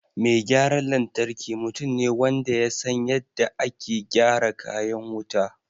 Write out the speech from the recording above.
Mai gyaran lantarki mutum ne wanda ya san yadda ake gyara kayan wuta